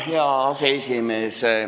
Hea aseesimees!